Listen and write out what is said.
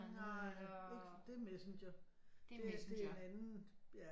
Nej ikke det er Messenger det er en anden ja